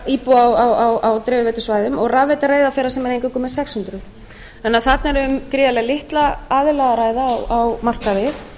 íbúa á dreifiveitusvæðum og rafveita reyðarfjarðar sem er eingöngu með sex hundruð þarna er því um gríðarlega litla aðila að ræða á markaði